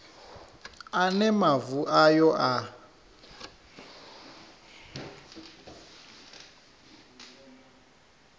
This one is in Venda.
a ne mavu ayo a